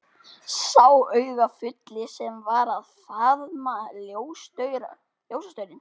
Sá augafulli sem var að faðma ljósastaurinn.